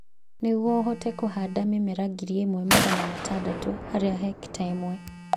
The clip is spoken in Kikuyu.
Nĩguo ũhote kũhanda mĩmera ngiri ĩmwe magana matandatũ harĩ hekita ĩmwe